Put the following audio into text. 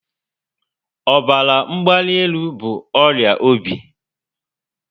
Ọbara mgbanelu bụ ọrịa obi